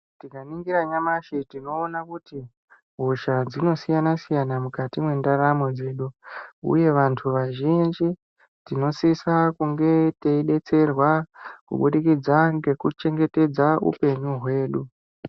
Tikaningira nyamashi tinoona kuti hosha dzinosiyana-siyana mukati mwendaramo dzedu, uye vantu vazhinji tinosisa kunge teibetserwa kubudikidza ngekuchengetedza upenyu hwedu.